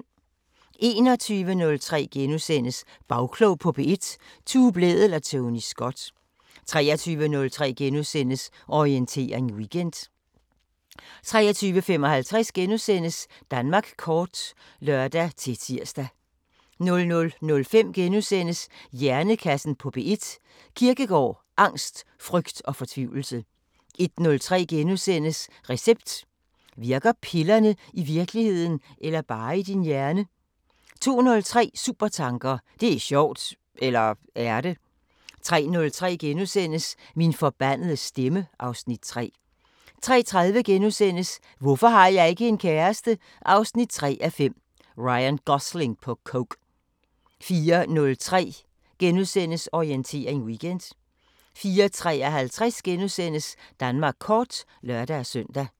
21:03: Bagklog på P1: Tue Blædel og Tony Scott * 23:03: Orientering Weekend * 23:55: Danmark kort *(lør-tir) 00:05: Hjernekassen på P1: Kierkegaard, angst, frygt og fortvivlelse * 01:03: Recept: Virker pillerne i virkeligheden eller bare i din hjerne? * 02:03: Supertanker: Det er sjovt! – eller er det? 03:03: Min forbandede stemme (Afs. 3)* 03:30: Hvorfor har jeg ikke en kæreste? 3:5 – Ryan Gosling på coke * 04:03: Orientering Weekend * 04:53: Danmark kort *(lør-søn)